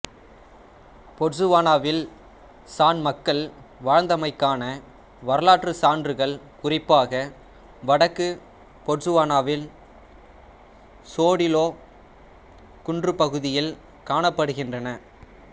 பொட்சுவானாவில் San மக்கள் வாழ்ந்தமைக்கான வரலாற்றுச் சான்றுகள் குறிப்பாக வடக்கு பொட்சுவானாவின் சோடிலோ குன்றுப் பகுதியில் காணப்படுகின்றன